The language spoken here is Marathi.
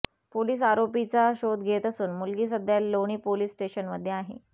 पोलीस आरोपीचा शोध घेत असून मुलगी सध्या लोणी पोलीस स्टेशनमध्ये आहे